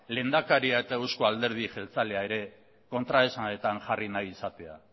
lehendakaria eta eusko alderdi jeltzalea ere kontraesanetan jarri nahi izatea